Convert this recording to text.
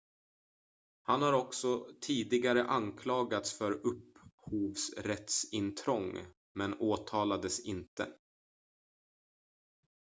han har också tidigare anklagats för upphovsrättsintrång men åtalades inte